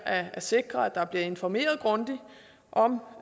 at sikre at der bliver informeret grundigt om